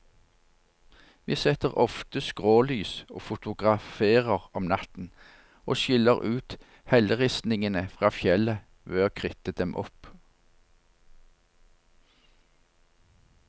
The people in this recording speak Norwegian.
Vi setter ofte skrålys og fotograferer om natten, og skiller ut helleristningen fra fjellet ved å kritte dem opp.